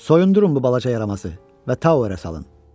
Soyundurun bu balaca yaramazı və Tavera salın.